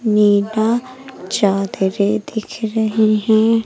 नीला चादरें दिख रही हैं।